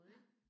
Ja